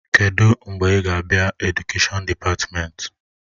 Kedụ mgbe ị ga-abịa Edukèshọn dịpatmenti?